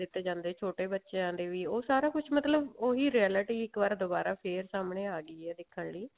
ਦਿੱਤੇ ਜਾਂਦੇ ਛੋਟੇ ਬੱਚਿਆਂ ਦੇ ਵੀ ਉਹ ਸਾਰਾ ਕੁਛ ਮਤਲਬ ਉਹੀ realty ਇੱਕ ਵਾਰ ਦੁਬਾਰਾ ਫ਼ੇਰ ਸਾਹਮਣੇ ਆਗੀ ਹੈ ਦੇਖਣ ਲਈ